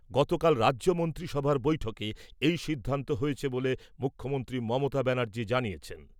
গতকাল রাজ্য মন্ত্রিসভার বৈঠকে এই সিদ্ধান্ত হয়েছে ব'লে মুখ্যমন্ত্রী মমতা ব্যানার্জি জানিয়েছেন।